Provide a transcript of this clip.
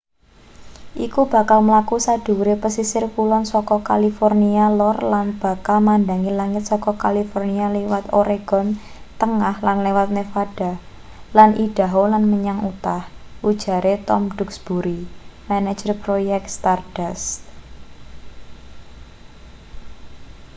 iku bakal mlaku sadhuwure pesisir kulon saka california lor lan bakal madhangi langit saka california liwat oregon tengah lan liwat nevada lan idaho lan menyang utah ujare tom duxbury manajer proyek stardust